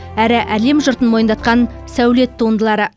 әрі әлем жұртын мойындатқан сәулет туындылары